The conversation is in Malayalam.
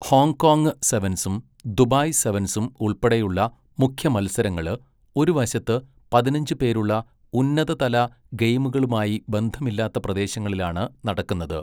ഹോങ്കോംഗ് സെവൻസും ദുബായ് സെവൻസും ഉൾപ്പെടെയുള്ള മുഖ്യ മത്സരങ്ങള്, ഒരു വശത്ത് പതിനഞ്ച് പേരുള്ള ഉന്നത തല ഗെയിമുകളുമായി ബന്ധമില്ലാത്ത പ്രദേശങ്ങളിലാണ് നടക്കുന്നത്.